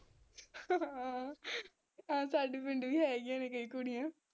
ਹਾਂ ਸਾਡੇ ਪਿੰਡ ਵੀ ਹੈਗੀਆਂ ਨੇ ਕਈ ਕੁੜੀਆਂ